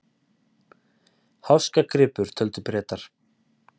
Háskagripur, töldu Bretar.